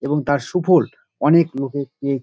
এবং তার সুফোল অনেক লোকে পেয়ে--